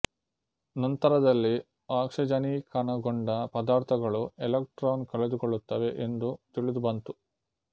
ನಂತರದಲ್ಲಿ ಆಕ್ಸಿಜನೀಕಣಗೊಂಡ ಪದಾರ್ಥಗಳು ಎಲೆಕ್ಟ್ರಾನ್ ಕಳೆದುಕೊಳ್ಳುತ್ತವೆ ಎಂದು ತಿಳಿದು ಬಂತು